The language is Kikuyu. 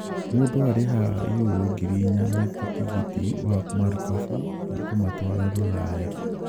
Mũndũ arĩhaga yurũ ngiri inya wĩ ta tigiti wa marikabu ya kũmatwara Rũraya.